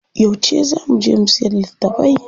Yauce zaa mu je mu siyar da litattafai?